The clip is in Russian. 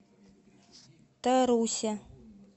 тарусе